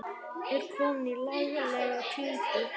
Er komin í laglega klípu.